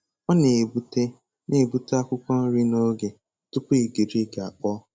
Ọ na-egbute na-egbute akwụkwọ nri n'oge tupu igirigi akpọọ.